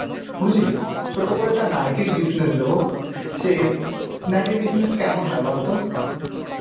বুঝলি? ছোট করে একটি নাইটির business দেব. সে নাইটির business কেমন হয় বলতো?